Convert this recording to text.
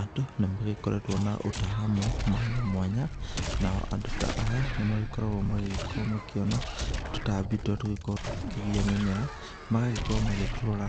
Andũ nĩ magĩkoretwo na ũtaramu mwanya mwanya, nao andũ ta aya nĩ magĩkoragwo magĩgĩkorwo makĩona tũtambi tũrĩa tũkoragwo tũgĩkĩgia mĩmera. Magagĩkorwo magĩtũrora